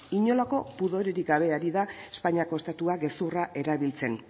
inolako pudorerik gabe ari da espainiako estatua gezurra erabiltzen